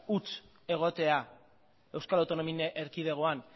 huts egotea euskal autonomi erkidegoan